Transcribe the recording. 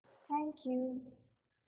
thank you